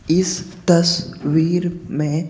इस तस वीर में--